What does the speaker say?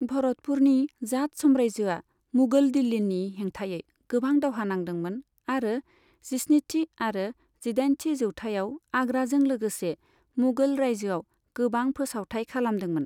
भरतपुरनि जाट साम्रायजोआ मुगल दिल्लिनि हेंथायै गोबां दावहा नांदोंमोन आरो जिस्निथि आरो जिदाइनथि जौथाइआव आग्राजों लोगोसे मुगल रायजोआव गोबां फोसावथाइ खालामदोंमोन।